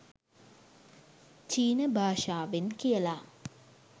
චීන භාෂාවෙන් කියලා.